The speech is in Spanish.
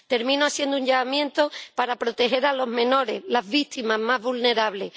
Termino haciendo un llamamiento para proteger a los menores, las víctimas más vulnerables.